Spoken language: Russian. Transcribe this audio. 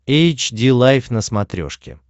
эйч ди лайф на смотрешке